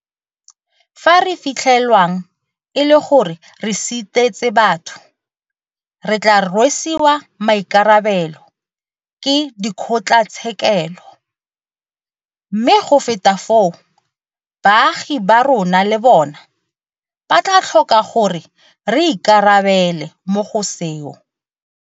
Fa re fitlhelwang e le gore re sitetse batho, re tla rwesiwa maikarabelo ke dikgotlatshekele, mme go feta moo, baagi ba rona le bona ba tla tlhoka gore re ikarabele mo go seo.